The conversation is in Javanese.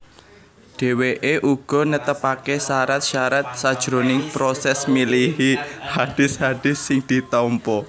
Dheweke uga netepake syarat syarat sajroning proses milihi hadis hadis sing ditampa